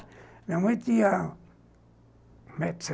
Minha mãe tinha um metro e